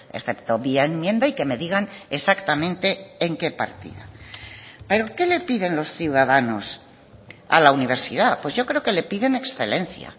excepto vía enmienda y que me digan exactamente en qué partida pero qué le piden los ciudadanos a la universidad pues yo creo que le piden excelencia